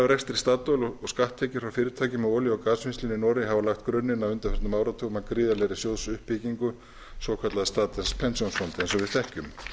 rekstri statoil og skatttekjur frá fyrirtækjum í olíu og gasvinnslunni í noregi hafa lagt grunninn á undanförnum áratugum að gríðarlegri sjóðsuppbyggingu svokallaðs statens pensjonsfond eins og við þekkjum